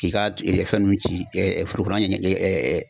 K'i ka fɛn nun ci foro kɔnɔna